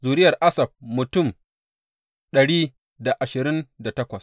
Zuriyar Asaf mutum dari da ashirin da takwas.